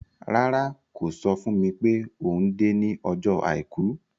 Rárá, kò sọ fún mi pé òun dé ní ọjọ́ Àìkú.